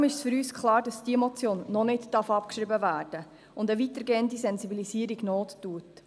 Deshalb ist für uns klar, dass diese Motion noch nicht abgeschrieben werden darf und eine weitergehende Sensibilisierung Not tut.